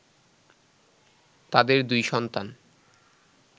তাদের দুই সন্তান